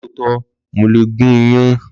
Lọtọ, mo le gùn iyan